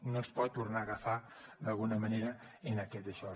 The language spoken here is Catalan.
no ens pot tornar a agafar d’alguna manera en aquest daixò